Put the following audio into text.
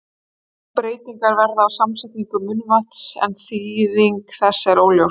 Breytingar verða á samsetningu munnvatnsins, en þýðing þess er óljós.